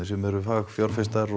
sem eru fagfjárfestar